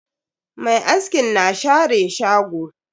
Mai askin na share shago.